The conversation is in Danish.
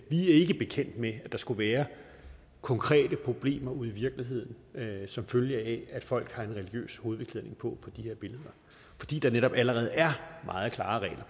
vi er ikke bekendt med at der skulle være konkrete problemer ude i virkeligheden som følge af at folk har en religiøs hovedbeklædning på på de her billeder fordi der netop allerede er meget klare regler